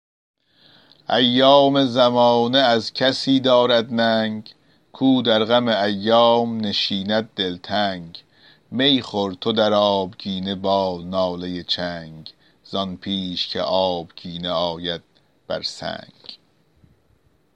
ایام زمانه از کسی دارد ننگ کو در غم ایام نشیند دلتنگ می خور تو در آبگینه با ناله چنگ زان پیش که آبگینه آید بر سنگ